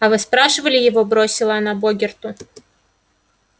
а вы спрашивали его бросила она богерту